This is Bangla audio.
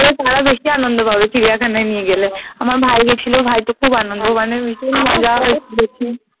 তো তারা বেশি আনন্দ পাবে চিড়িয়াখানায় নিয়ে গেলে আমার ভাই গেছিলো ভাইর তো খুব আনন্দ মানে